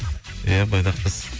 ия бойдақпыз